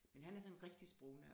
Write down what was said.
Men han er sådan en rigtig sprognørd